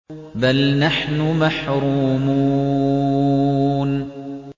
بَلْ نَحْنُ مَحْرُومُونَ